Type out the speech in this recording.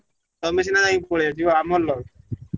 ତମେ ସିନା ଯାଇ ପଳେଇଆସିବ ଆମର loss